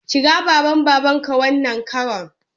Kira baba Mbaka wannan karon!